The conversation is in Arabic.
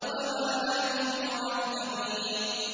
وَمَا نَحْنُ بِمُعَذَّبِينَ